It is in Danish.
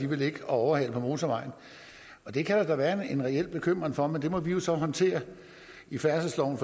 vil ligge og overhale på motorvejen det kan der da være en reel bekymring for men det må vi jo så håndtere i færdselsloven